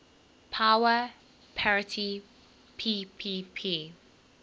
power parity ppp